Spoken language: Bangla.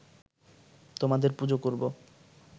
তোমাদের পুজো করব